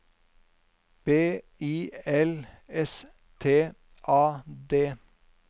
B I L S T A D